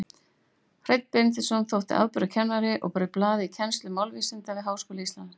Hreinn Benediktsson þótti afburðakennari og braut blað í kennslu málvísinda við Háskóla Íslands.